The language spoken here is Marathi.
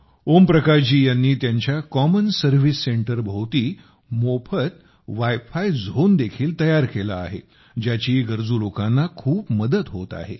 ओम प्रकाश जी यांनी त्यांच्या कॉमन सर्व्हिस सेंटरभोवती मोफत वायफाय झोन देखील तयार केला आहे ज्याची गरजू लोकांना खूप मदत होत आहे